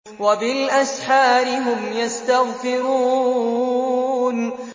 وَبِالْأَسْحَارِ هُمْ يَسْتَغْفِرُونَ